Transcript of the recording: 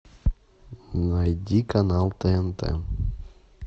найди канал тнт